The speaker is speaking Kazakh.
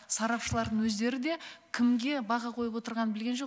сарапшылардың өздері де кімге баға қойып отырғанын білген жоқ